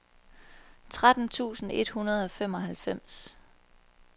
tretten tusind et hundrede og femoghalvfems